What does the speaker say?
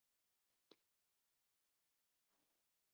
Það er kannski hlægilegt.